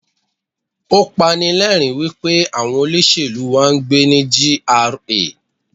Ó pani lẹ́rìń wípé àwọn olóṣèlú wá ń gbé ní GRA.